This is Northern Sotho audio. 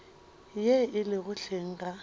ye e lego hleng ga